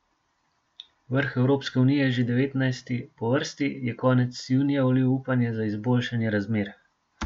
Vrh Evropske unije, že devetnajsti po vrsti, je konec junija vlil upanje na izboljšanje razmer.